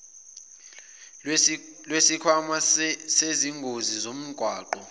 lwesikhwama sezingozi zomgwaqo